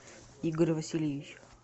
игорь васильевич